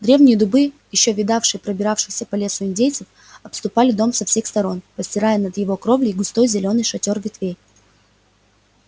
древние дубы ещё видавшие пробиравшихся по лесу индейцев обступали дом со всех сторон простирая над его кровлей густой зелёный шатёр ветвей